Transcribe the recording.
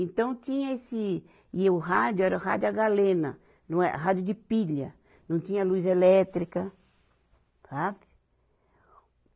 Então tinha esse, e o rádio era rádio a galena, não é, rádio de pilha, não tinha luz elétrica, sabe?